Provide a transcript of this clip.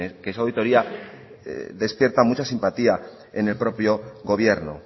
quienes que esa auditoría despierta mucha simpatía en el propio gobierno